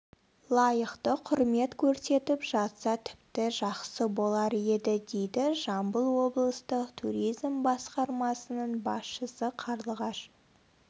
лайықты құрмет көрсетіп жатса тіпті жақсы болар еді дейді жамбыл облыстық туризм басқармасының басшысы қарлығаш